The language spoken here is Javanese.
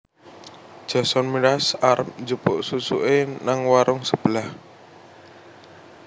Jason Mraz arep njupuk susuke nang warung sebelah